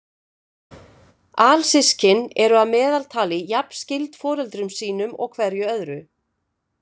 Alsystkin eru að meðaltali jafn skyld foreldrum sínum og hverju öðru.